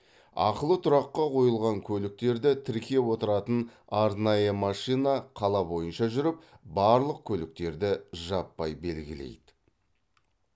ақылы тұраққа қойылған көліктерді тіркеп отыратын арнайы машина қала бойынша жүріп барлық көліктерді жаппай белгілейді